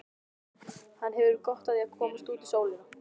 Hann hefur gott af að komast út í sólina.